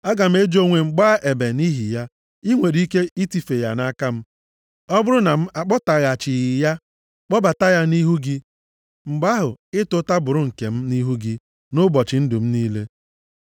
Aga m eji onwe m gbaa ebe nʼihi ya. I nwere ike itife ya nʼaka m. Ọ bụrụ na m akpọtaghachighị ya, kpọbata ya nʼihu gị, mgbe ahụ, ịta ụta bụrụ nke m nʼihu gị, nʼụbọchị ndụ m niile.